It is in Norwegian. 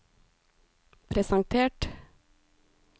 presentert